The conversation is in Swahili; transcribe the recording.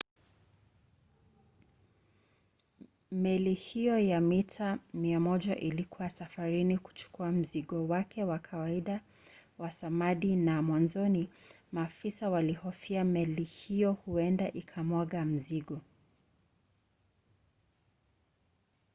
meli hiyo ya mita 100 ilikuwa safarini kuchukua mzigo wake wa kawaida wa samadi na mwanzoni maafisa walihofia meli hiyo huenda ikamwaga mzigo